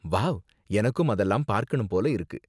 Wow! எனக்கும் அதெல்லாம் பாக்கணும் போல இருக்கு.